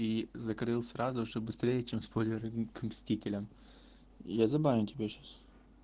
и закрыл сразу чтобы быстрее чем спойлеры к мстителям я забаню тебя сейчас